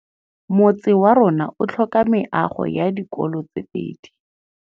Motse warona o tlhoka meago ya dikolô tse pedi.